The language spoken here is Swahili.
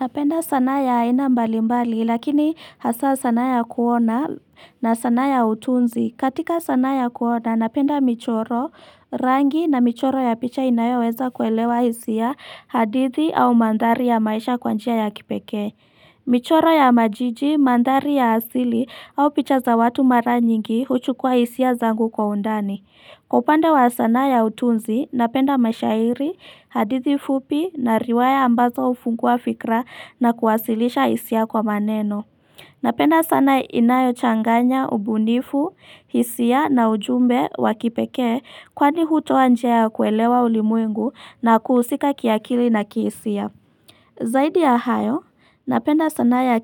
Napenda sanaa ya aina mbali mbali lakini hasa sanaa ya kuona na sanaa ya utunzi. Katika sanaa ya kuona napenda michoro rangi na michoro ya picha inayoweza kuelewa hisia hadithi au manthari ya maisha kwanjia ya kipekee. Michoro ya majiji mandhari ya hasili au picha za watu mara nyingi huchukua hisia zangu kwa undani. Kwa upande wa sanaa ya utunzi, napenda mashairi, hadithi fupi na riwaya ambazo ufungua fikra na kuwasilisha hisia kwa maneno. Napenda sanaa inayo changanya, ubunifu, hisia na ujumbe wakipekee kwani hutoa njia ya kuelewa ulimwengu na kuhusika kiakili na kihisia. Zaidi ya hayo, napenda sanaa ya